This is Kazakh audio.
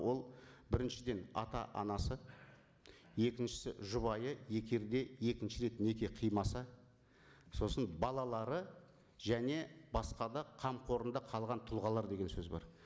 ол біріншіден ата анасы екіншісі жұбайы егер де екінші рет неке қимаса сосын балалары және басқа да қамқорында қалған тұлғалар деген сөз бар